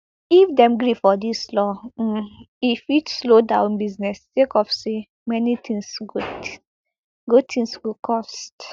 if dem gree for dis law um e fit slow down business sake of say many tins go tins go cost